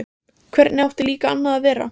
Hvernig átti líka annað að vera?